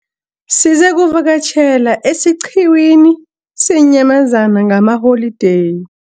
Sizakuvakatjhela esiqhiwini seenyamazana ngalamaholideyi.